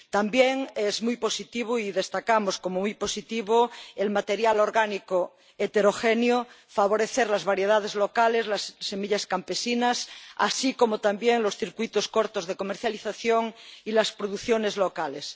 También es muy positivo —y destacamos como muy positivo— el material orgánico heterogéneo, favorecer las variedades locales, las semillas campesinas, así como también los circuitos cortos de comercialización y las producciones locales.